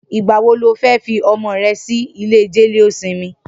Nigbà wó ló fi ọmọ rè si ilé jẹléósìmì?